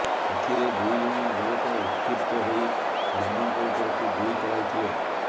ଏଥିରେ ଦୁଇଜଣ ଯୁବକ ଉତ୍କ୍ଷିପ୍ତ ହୋଇ ଶର୍ମାଙ୍କ ଉପରକୁ ଗୁଳି ଚଳାଇଥିଲେ